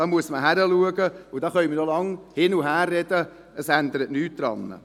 Da muss man hinschauen, und da können wir noch lange hin und her sprechen, es ändert nichts daran.